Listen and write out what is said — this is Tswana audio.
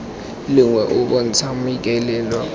lengwe o o bontshang maikaelelo